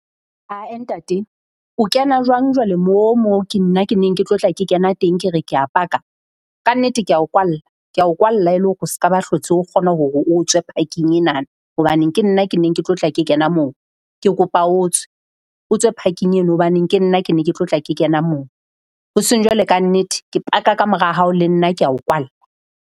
Ha-eh ntate o kena jwang jwale mo mo ke nna ke neng ke tlo tla ke kena teng ke re kea paka? kannete, kea o kwalla. Kea o kwalla e le hore o se ka ba hlotse o kgona hore o tswe parking enana. Hobaneng ke nna ke neng ke tlo tla ke kena moo, ke kopa o tswe. O tswe parking eno hobane ke nna ke ne ke tlo tla ke kena moo. Hoseng jwalo kannete ke paka kamora hao le nna kea o kwalla.